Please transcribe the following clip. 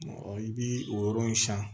I bi o yɔrɔ in san